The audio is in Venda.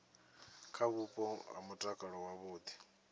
kha vhupo ha mutakalo wavhudi